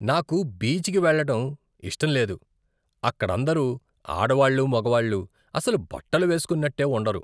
నాకు బీచ్కి వెళ్ళటం ఇష్టం లేదు. అక్కడందరు ఆడవాళ్ళూ, మగవాళ్ళూ అసలు బట్టలు వేస్కున్నట్టే ఉండరు.